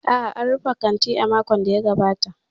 A'a, an rufe kantin a makon da ya gabata.